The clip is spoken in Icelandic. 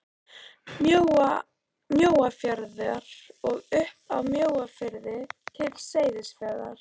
Mjóafjarðar og upp af Mjóafirði til Seyðisfjarðar.